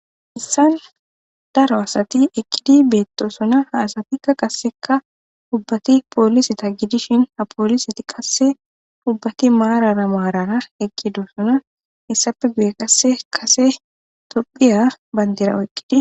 issan daro asati eqqidi beettosona ha asatikka qasseka dubbati poolisata gidishin ha poolisiti qasse dubbati maarara maarara eqkidosona issafe guye qasse kase tophiya bandera oeqqidi